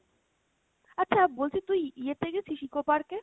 আচ্ছা বলছি, তুই ইয়ে তে গেছিস? Eco Park এ?